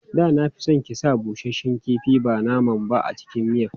Da na fi son ki sa busasshen kifi ba nama ba a cikin miyan.